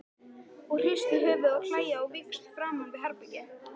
Og hrista höfuðið og hlæja á víxl framan við herbergið.